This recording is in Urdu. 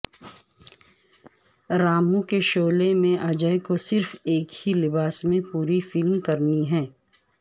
رامو کی شعلے میں اجے کو صرف ایک ہی لباس میں پوری فلم کرنی ہے